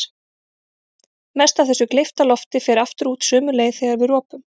Mest af þessu gleypta lofti fer aftur út sömu leið þegar við ropum.